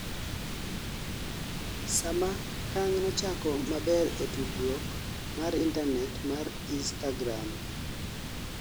sama kang nochako maber e tudruok mar intanet mar instagram